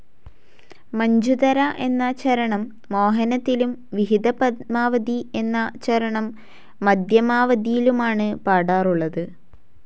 മഞ്ജുതര എന്ന ചരണം മോഹനത്തിലും വിഹിതപദ്മാവതി എന്ന ചരണം മധ്യമാവതിയിലുമാണ് പാടാറുള്ളത്.